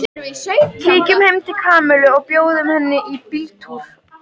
Kíkjum heim til Kamillu og bjóðum henni í bíltúr